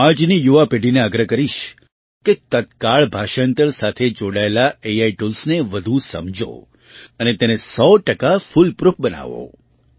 હું આજની યુવા પેઢીને આગ્રહ કરીશ કે તત્કાળ ભાષાંતર સાથે જોડાયેલા એઆઈ ટૂલ્સને વધુ સમજો અને તેને 100 ટકા ફૂલ પ્રૂફ બનાવો